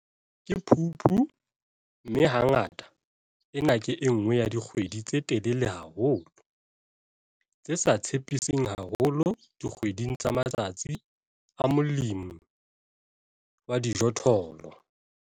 Ke Phupu, mme hangata ena ke e nngwe ya dikgwedi tse telele haholo, tse sa tshepiseng haholo dikgweding tsa matsatsi a molemi wa dijothollo.